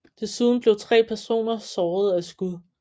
Desuden blev tre personer såret af skud